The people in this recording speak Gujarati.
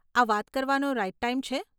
આ વાત કરવાનો રાઇટ ટાઇમ છે?